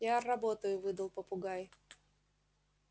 я работаю выдал попугай